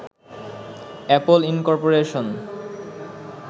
Apple incorporation